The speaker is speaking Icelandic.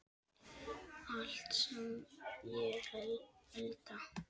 Allt sem ég elda.